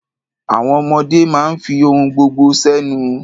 Àwọn ọmọdé máa ń fi ohun gbogbo sẹ́nu.